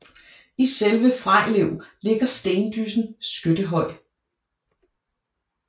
I selve Frejlev ligger stendyssen Skyttehøj